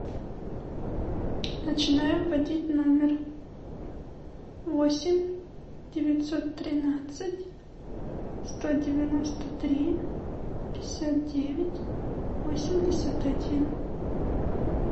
начинаем вводить номер восемь девятьсот тринадцать сто девяносто три пятьдесят девять восемьдесят один